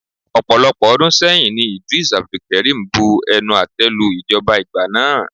Ọ̀pọ̀lọpọ̀ ọdún sẹ́yìn ní Eedris Abdulkareem bu ẹnu àte lu ìjọba ìgbà náà.